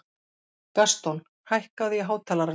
Gaston, hækkaðu í hátalaranum.